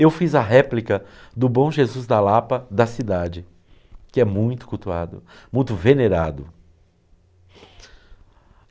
Eu fiz a réplica do Bom Jesus da Lapa da cidade, que é muito cultuado, muito venerado.